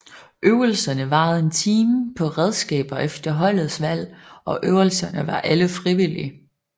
Øvelserne varede en time på redskaber efter holdets valg og øvelserne var alle frivillige